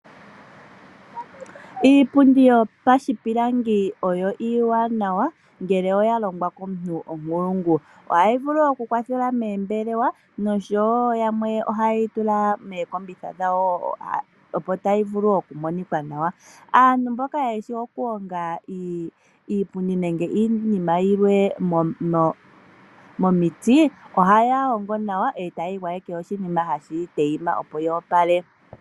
Iipundi yo pashipilangi oyo iiwanawa ngele oyalongwa komuntu omunkulungu. Ohayi vulu okukwathelela moombelewa noshowow yamwe ohaye yi tula mookombitha dhawo, opontayi vulu okumonikwa nawa. Aantu mboka yeshi okuhonga iipundi nenge iinima yilwe momiti, ohaya hongo nawa e taye yi gwayeke oshinima hashi tayima opo yi opale.